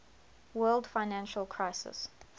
world financial crisis